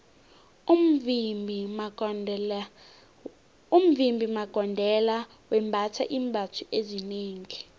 umvimbi magondelo wembatha iimbatho ezinengi